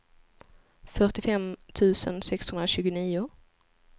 fyrtiofem tusen sexhundratjugonio